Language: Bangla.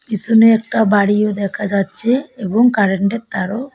পিসনে একটা বাড়িও দেখা যাচ্ছে এবং কারেন্ট এর তারও --